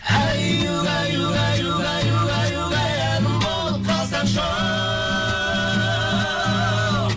әй угай угай угай угай угай әнім бол қалсаңшы оу